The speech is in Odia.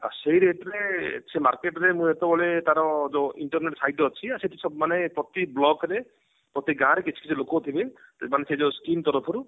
ଆଉ ସେଇ rate ରେ ସେ market ରେ ମୁଁ ଯେତେବେଳ ତାର ଯୋଉ internet site ଅଛି ଆଉ ସେଠି ମାନେ ପ୍ରତି block ରେ ପ୍ରତି ଗାଁ ରେ କିଛି କିଛି ଲୋକ ଥିବେ ମାନେ ସେ ଯୋଉ skim ତରଫରୁ